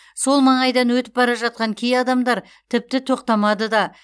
сол маңайдан өтіп бара жатқан кей адамдар тіпті тоқтамады да